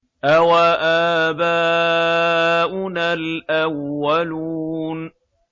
أَوَآبَاؤُنَا الْأَوَّلُونَ